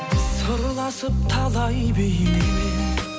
сырласып талай бейнемен